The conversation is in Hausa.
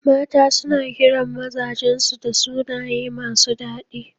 Mata suna kiran mazajan su da sunaye masu daɗi.